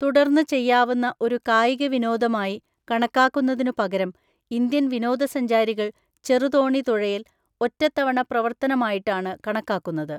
തുടര്‍ന്ന് ചെയ്യാവുന്ന ഒരു കായിക വിനോദമായി കണക്കാക്കുന്നതിനുപകരം ഇന്ത്യൻ വിനോദസഞ്ചാരികൾ ചെറുതോണി തുഴയല്‍, ഒറ്റത്തവണ പ്രവർത്തനമായിട്ടാണ് കണക്കാക്കുന്നത്.